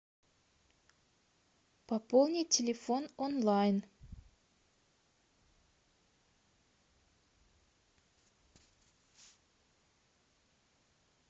пополнить телефон онлайн